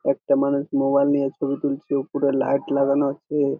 একটি মানুষ মোবাইল নিয়ে ছবি তুলছে উপরে লাইট লাগানো আছে।